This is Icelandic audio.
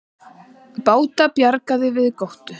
Báti bjargað við Gróttu